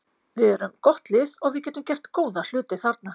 Við erum gott lið og við getum gert góða hluti þarna.